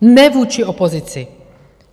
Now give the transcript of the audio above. ne vůči opozici.